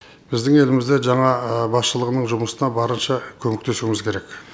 біздің елімізде жаңа басшылығының жұмысына барынша көмектесуіміз керек